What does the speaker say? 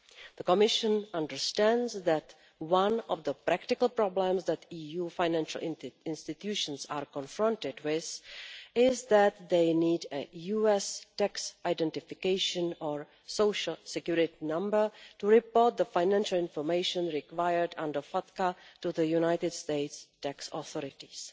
The Commission understands that one of the practical problems that EU financial institutions are confronted with is that they need a US tax identification or social security number to report the financial information required under FATCA to the United States tax authorities.